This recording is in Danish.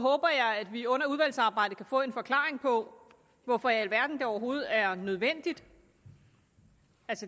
håber jeg at vi under udvalgsarbejdet kan få en forklaring på hvorfor i alverden det overhovedet er nødvendigt